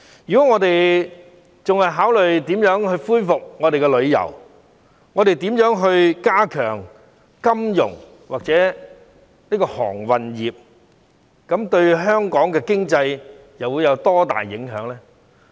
如果我們還是考慮如何恢復旅遊業，如何加強金融或航運業，這樣對香港的經濟又會有多大幫助？